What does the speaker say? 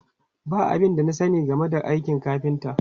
Ba abin da na sani game da aikin kafinta.